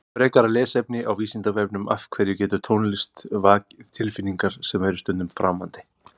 Frekara lesefni á Vísindavefnum Af hverju getur tónlist vakið tilfinningar sem eru stundum framandi?